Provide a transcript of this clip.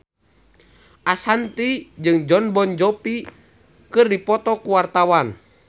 Ashanti jeung Jon Bon Jovi keur dipoto ku wartawan